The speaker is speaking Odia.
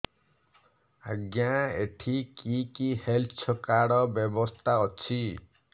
ଆଜ୍ଞା ଏଠି କି କି ହେଲ୍ଥ କାର୍ଡ ବ୍ୟବସ୍ଥା ଅଛି